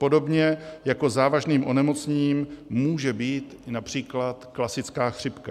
Podobně jako závažným onemocněním může být například klasická chřipka.